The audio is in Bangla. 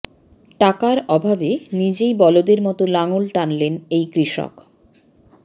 টাকার অভাবে নিজেই বলদের মতো লাঙল টানলেন এই কৃষক